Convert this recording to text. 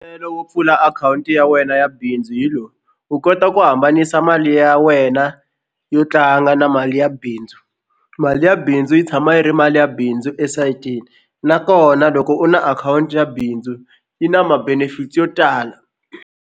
Wo pfula akhawunti ya wena ya bindzu hi lowu u kota ku hambanisa mali ya wena yo tlanga na mali ya bindzu mali ya bindzu yi tshama yi ri mali ya bindzu esayitini nakona loko u na akhawunti ya bindzu yi na ma-benefits yo tala.